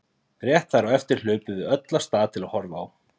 Rétt þar á eftir hlupum við öll af stað til að horfa á.